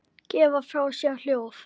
gefa frá sér hljóð